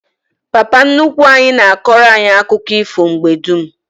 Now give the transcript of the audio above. Papa nnukwu anyi na akoro anyi akuko ifo mgbe dum